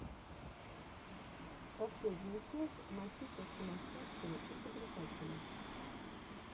последняя часть матита сумасшедшего изобретателя